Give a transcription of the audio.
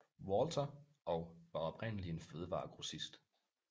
Walter og var oprindeligt en fødevaregrossist